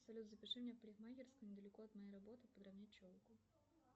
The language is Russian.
салют запиши меня в парикмахерскую недалеко от моей работы подровнять челку